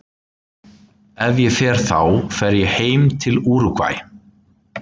Ef ég fer þá fer ég heim til Úrúgvæ.